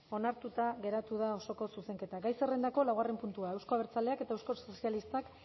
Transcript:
onartuta geratu da osoko zuzenketa gai zerrendako laugarren puntua euzko abertzaleak eta euskal sozialistak